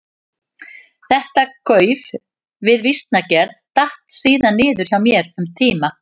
Þetta gauf við vísnagerð datt síðan niður hjá mér um tíma.